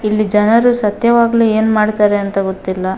ಇಲ್ಲಿ ಜನರು ಸತ್ಯವಾಗು ಏನು ಮಾಡ್ತಾರೆ ಅಂತ ಗೊತ್ತಿಲ್ಲ.